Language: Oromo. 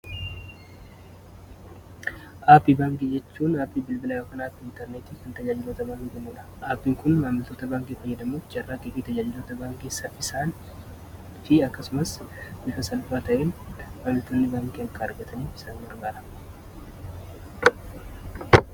Aappii baangii jechuun aappii bilbilaa yokan apii intarnetii hinta jalloota baangimuudha aapiin kun maamiltoota baankee fayyadamuchi jarraa kigiita jalloota baangeessa isaan fi akkasumas bifa salpaa ta'in maamiltoonni baangii akka argatanii isaan margaara.